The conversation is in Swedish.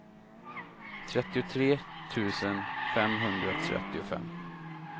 trettiotre tusen femhundratrettiofem